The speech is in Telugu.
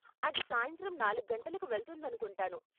అది సాయంత్రం నాలుగు గంటలకు వెళ్తుందనుకుంటాను.